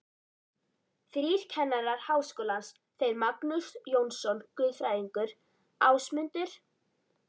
Þrír kennarar Háskólans, þeir Magnús Jónsson guðfræðingur, Ásmundur